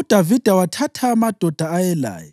UDavida wathatha amadoda ayelaye,